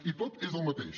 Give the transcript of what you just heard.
i tot és el mateix